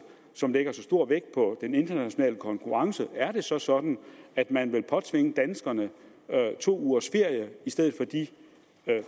som lægger så stor vægt på den internationale konkurrence er det så sådan at man vil påtvinge danskerne to ugers ferie i stedet for de